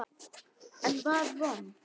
Enn var von!